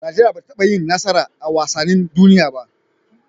Nigeria bata taba yin nasara a wasanin duniya ba